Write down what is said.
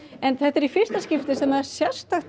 en þetta er í fyrsti skipti sem sérstakt